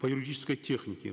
по юридической технике